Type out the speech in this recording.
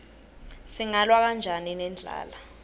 singalwa kanjani nendlala